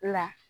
La